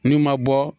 N'i ma bɔ